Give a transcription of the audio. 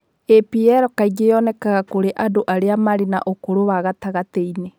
APL kaingĩ yonekaga kũrĩ andũ arĩa marĩ na ũkũru wa gatagatĩ-inĩ.